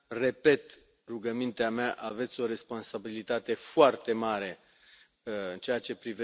Repet rugămintea mea aveți o responsabilitate foarte mare în ceea ce privește viitorul acestui regulament prin legislația secundară.